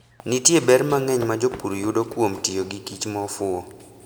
Nitie ber mang'eny ma jopur yudo kuom tiyo gikich ma ofuwo.